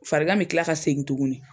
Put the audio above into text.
Farigan bɛ kila ka segin tuguni